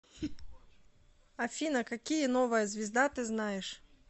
афина какие новая звезда ты знаешь